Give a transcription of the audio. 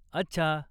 अच्छा.